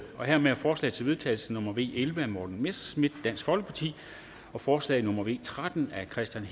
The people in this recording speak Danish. hermed er forslag til vedtagelse nummer v elleve af morten messerschmidt og forslag nummer v tretten af kristian